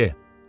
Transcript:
Lekadye.